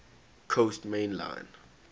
coast main line